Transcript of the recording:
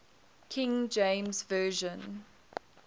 king james version